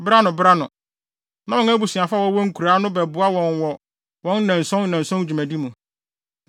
Bere ano bere ano, na wɔn abusuafo a wɔwɔ nkuraa no bɛboa wɔn wɔ wɔn nnanson nnanson dwumadi mu.